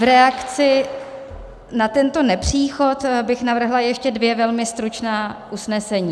V reakci na tento nepříchod bych navrhla ještě dvě velmi stručná usnesení.